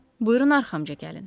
Buyurun arxamca gəlin.